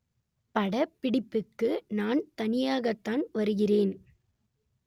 படப்பிடிப்புக்கு நான் தனியாகத்தான் வருகிறேன்